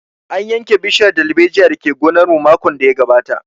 An yanke bishiyar dalbejiyar da ke gonar mu makon da ya gabata